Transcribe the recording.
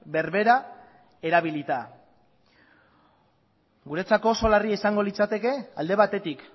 berbera erabilita guretzako oso larria izango litzateke alde batetik